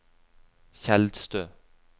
Tjeldstø